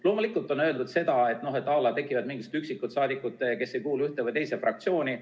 Loomulikult, on öeldud näiteks seda, et on mingid üksikud saadikud, kes ei kuulu ühte ega teise fraktsiooni.